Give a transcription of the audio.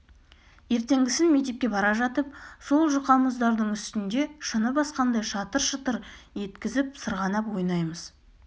ертеңгісін мектепке бара жатып сол жұқа мұздардың үстінде шыны басқандай шытыр-шытыр еткізіп сырғанап ойнаймыз